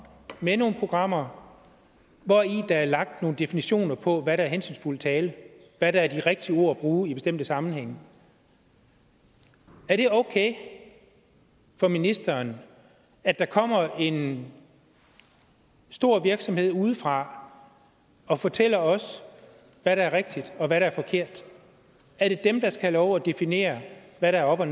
med nogle programmer hvori der er lagt nogle definitioner på hvad der er hensynsfuld tale hvad der er de rigtige ord at bruge i bestemte sammenhænge er det okay for ministeren at der kommer en stor virksomhed udefra og fortæller os hvad der er rigtigt og hvad der er forkert er det dem der skal have lov at definere hvad der er op og